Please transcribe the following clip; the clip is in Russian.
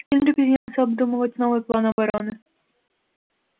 генри принялся обдумывать новый план обороны